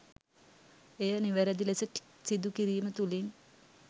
එය නිවැරැදි ලෙස සිදු කිරීම තුළින්